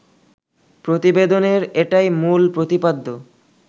প্রতিবেদনের এটাই মূল প্রতিপাদ্য